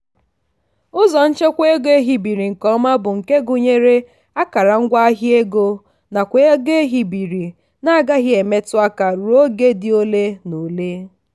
ụzọ nchekwa ego ehibere nke ọma bụ nke gụnyere akara ngwaahịa ego nakwa ego ehibere na-agaghị emetu aka ruo oge dị ole na ole.